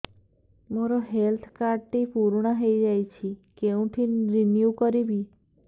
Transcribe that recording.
ମୋ health card ଟି ପୁରୁଣା ହେଇଯାଇଛି କେଉଁଠି ରିନିଉ କରିବି